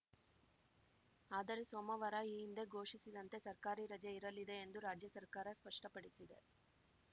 ಆದರೆ ಸೋಮವಾರ ಈ ಹಿಂದೆ ಘೋಷಿಸಿದಂತೆ ಸರ್ಕಾರಿ ರಜೆ ಇರಲಿದೆ ಎಂದು ರಾಜ್ಯ ಸರ್ಕಾರ ಸ್ಪಷ್ಟಪಡಿಸಿದೆ